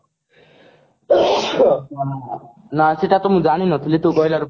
ନା ସେଟା ତ ମୁଁ ଜାଣିନଥିଲି ତୁ କହିଲାରୁ